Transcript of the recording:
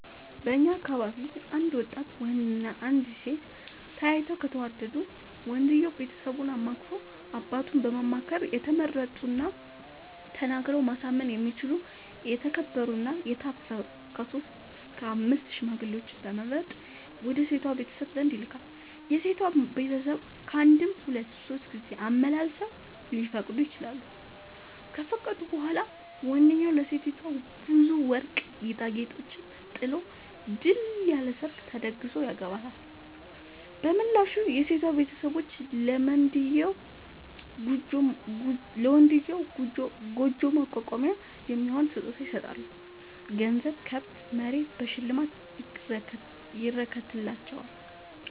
በእኛ አካባቢ አንድ ወጣት ወንድ እና አንዲት ሴት ተያይተው ከተወዳዱ ወንድየው ቤተሰቡን አማክሮ አባቱን በማማከር የተመረጡና ተናግረው ማሳመን የሚችሉ የተከበሩ እና የታፈሩ ከሶስት እስከ አምስት ሽማግሌዎችን በመምረጥ ወደ ሴቷ ቤተሰብ ዘንድ ይልካል። የሴቷ ቤተሰብ ካንድም ሁለት ሶስት ጊዜ አመላልሰው ሊፈቅዱ ይችላሉ። ከፈቀዱ በኋላ ወንድዬው ለሴቲቱ ብዙ ወርቅ ጌጣጌጦችን ጥሎ ድል ያለ ሰርግ ተደግሶ ያገባታል። በምላሹ የሴቷ ቤተሰቦች ለመንድዬው ጉጆ ማቋቋሚያ የሚሆን ስጦታ ይሰጣሉ ገንዘብ፣ ከብት፣ መሬት በሽልማት ይረከትላቸዋል።